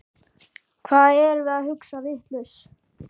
Hvað erum við að hugsa vitlaust?